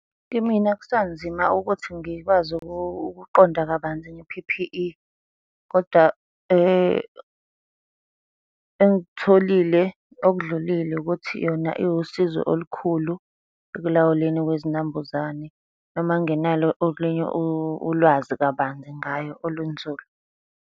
Kimina kusanzima ukuthi ngikwazi ukukuqonda kabanzi nge-P_P_E, koda engikutholile okudlulile ukuthi yona iwusizo olukhulu ekulawulweni kwezinambuzane noma ngingenalo olunye ulwazi kabanzi ngayo olunzulu.